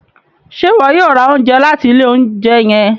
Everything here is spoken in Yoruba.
Ṣe iwọ yoo ra ounjẹ lati ile ounjẹ yẹn?